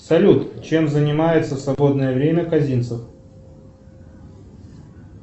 салют чем занимается в свободное время казинцев